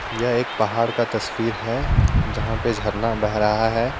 यह एक पहाड़ का तस्वीर है जहां पे झरना बह रहा है।